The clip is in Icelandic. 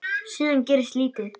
Síðan gerist lítið.